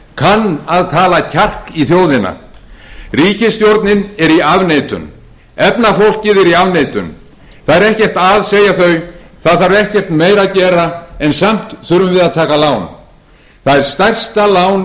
kann að tala kjark í þjóðina ríkisstjórnin er í afneitun efnafólkið er í afneitun það er ekkert að segja þau það þarf ekkert meira að gera en samt þurfum við að taka lán það er stærsta lán